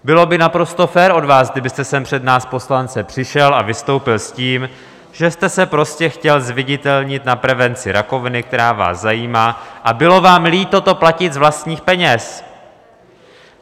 Bylo by naprosto fér od vás, kdybyste sem před nás poslance přišel a vystoupil s tím, že jste se prostě chtěl zviditelnit na prevenci rakoviny, která vás zajímá, a bylo vám líto to platit z vlastních peněz.